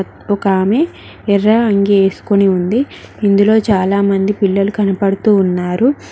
ఒక ఆమె ఎర్ర అంగి వేసుకుని ఉంది ఇందులో చాలామంది పిల్లలు కనపడుతూ ఉన్నారు.